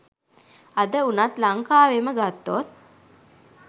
අද වුනත් ලංකාවෙම ගත්තොත්